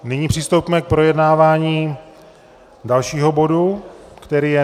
Nyní přistoupíme k projednávání dalšího bodu, kterým je